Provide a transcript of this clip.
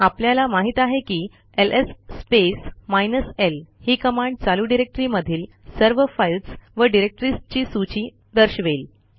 आपल्याला माहित आहे की एलएस स्पेस माइनस ल ही कमांड चालू डिरेक्टरीमधील सर्व फाईल्स व डिरेक्टरीजची सूची दर्शवेल